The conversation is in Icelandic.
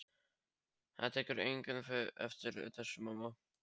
Það tekur enginn eftir þessu, mamma.